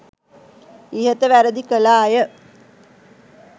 ඉහත වැරැදි කළ අය